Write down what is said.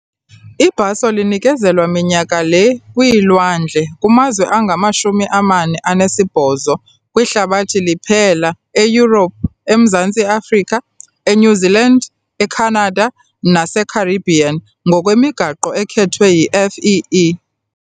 Ibhaso linikezelwa minyaka le kwiilwandle kumazwe angama-48 kwihlabathi liphela eYurophu, eMzantsi Afrika, eNew Zealand, eCanada naseCaribbean ngokwemigaqo ekhethwe yi-FEE.